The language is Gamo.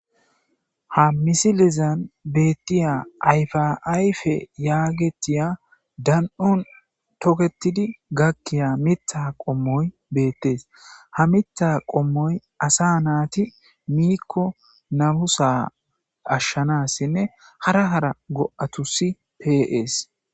Ha missilen bethiya ayfa ayfe yagethiya dandhon tokettidi gakiya miththa qomoy bethess ha miththa qomoy assa naathi mikko namusa ashanasinne hara hara go'thuss pe'ss.